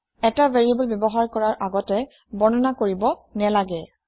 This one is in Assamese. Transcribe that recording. এটা ভেৰিয়েবল ব্যৱহাৰ কৰাৰ আগতে বৰ্ণনা কৰিব নেলাগে